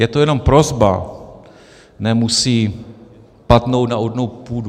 Je to jenom prosba, nemusí padnout na úrodnou půdu.